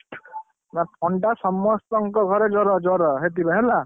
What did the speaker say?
ଥଣ୍ଡା ସମସ୍ତଙ୍କ ଘରେ ଜର ଜର ହେଇଥିଲା ହେଲା।